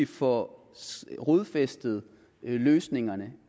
får rodfæstet løsningerne at